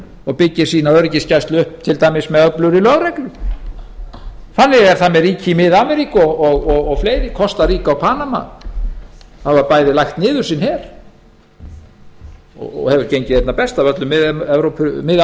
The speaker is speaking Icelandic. og byggir öryggisgæslu til dæmis upp með öflugri lögreglu þannig er það með ríki í mið ameríku og fleiri kostaríka og panama hafa bæði lagt niður sinn her og hefur gengið einna best af öllum þeim ríkjum